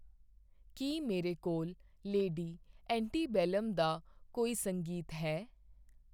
ਕੀ ਮੇਰੇ ਕੋਲ Lady Antebellum ਦਾ ਕੋਈ ਸੰਗੀਤ ਹੈ?